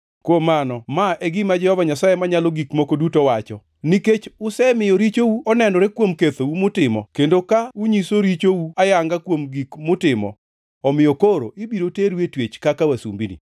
“Kuom mano, ma e gima Jehova Nyasaye Manyalo Gik Moko Duto wacho kama: ‘Nikech usemiyo richou onenore kuom kethou mutimo, kendo ka unyiso richou oyanga kuom gik mutimo; omiyo koro ibiro teru e twech kaka wasumbini.